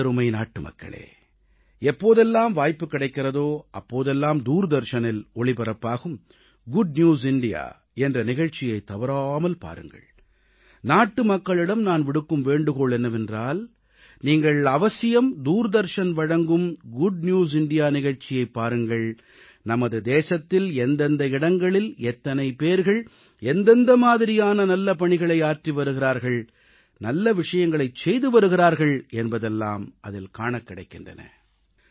எனதருமை நாட்டுமக்களே எப்போதெல்லாம் வாய்ப்புக் கிடைக்கிறதோ அப்போதெல்லாம் தூர்தர்ஷனில் ஒளிபரப்பாகும் குட் நியூஸ் இந்தியா என்ற நிகழ்ச்சியைத் தவறாமல் பாருங்கள் நாட்டுமக்களிடம் நான் விடுக்கும் வேண்டுகோள் என்னவென்றால் நீங்கள் அவசியம் தூர்தர்ஷன் வழங்கும் குட் நியூஸ் இந்தியா நிகழ்ச்சியைப் பாருங்கள் நமது தேசத்தில் எந்தெந்த இடங்களில் எத்தனை பேர்கள் எந்தெந்த மாதிரியான நல்ல பணிகளை ஆற்றி வருகிறார்கள் நல்ல விஷயங்களைச் செய்து வருகிறார்கள் என்பதெல்லாம் அதில் காணக் கிடைக்கின்றன